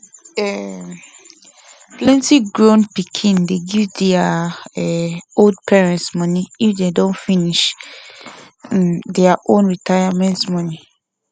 um plenti grown pikin dey give their um old parents money if them don finish um their own retirement money